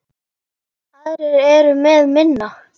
Aðrir eru með minna.